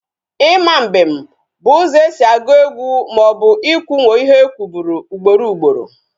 Ima mbem bụ ụzọ esi agụ egwu maọbụ ị kwunwo ihe e kwuburu ugboro ugboro